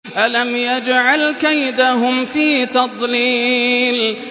أَلَمْ يَجْعَلْ كَيْدَهُمْ فِي تَضْلِيلٍ